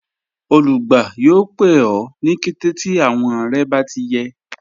Olùgbà yọọ̀ pẹ̀ ọ ni kẹtẹ̀ ti awọn rẹ̀ bá ti yẹ